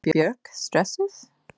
Var Björk stressuð?